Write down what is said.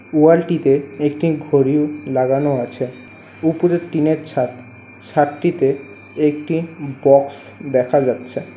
ওয়াল -টিতে একটি ঘড়ি লাগানো আছে। উপরে টিন -এর ছাদ। ছাদটিতে একটি বক্স দেখা যাচ্ছে।